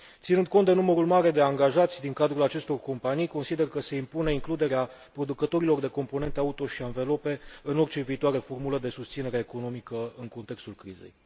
Ținând cont de numărul mare de angajați din cadrul acestor companii, consider că se impune includerea producătorilor de componente auto și anvelope în orice viitoare formulă de susținere economică în contextul crizei.